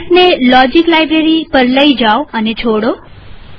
માઉસને logic library પર લઇ જાઓ અને છોડો